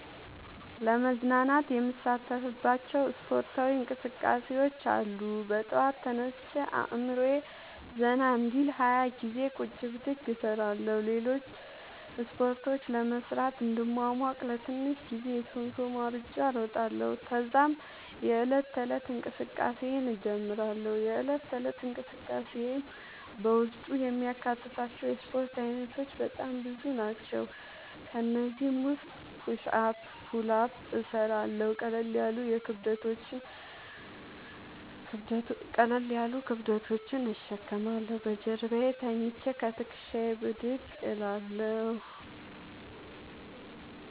ለመዝናናት የምሣተፍባቸዉ እስፖርታዊ እንቅስቃሤዎች አሉ። በጠዋት ተነስቼ አእምሮየ ዘና እንዲል 20ገዜ ቁጭ ብድግ እሰራለሁ። ሌሎችን እስፖርቶች ለመሥራት እንድሟሟቅ ለትንሽ ጊዜ የሶምሶማ እሩጫ እሮጣለሁ። ተዛም የዕለት ተለት እንቅስቃሴየን እጀምራለሁ። የእለት ተለት እንቅስቃሴየም በውስጡ የሚያካትታቸዉ የእስፖርት አይነቶች በጣም ብዙ ናቸዉ። ከእነዚህም ዉስጥ ፑሽ አፕ ፑል አፕ እሠራለሁ። ቀለል ያሉ ክብደቶችን እሸከማለሁ። በጀርባየ ተኝቸ ከትክሻየ ብድግ እላለሁ።